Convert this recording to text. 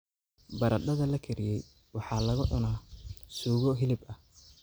Baradhada la kariyey waxaa lagu cunaa suugo hilib ah.